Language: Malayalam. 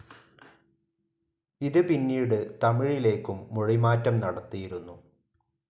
ഇത് പിന്നീട് തമിഴിലേക്കും മൊഴിമാറ്റം നടത്തിയിരുന്നു.